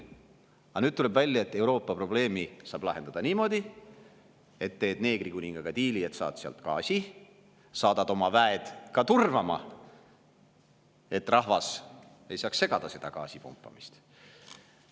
Aga nüüd tuleb välja, et Euroopa probleemi saab lahendada niimoodi, et teed neegrikuningaga diili, saad sealt gaasi ja saadad oma väed turvama, et rahvas ei saaks seda gaasipumpamist segada.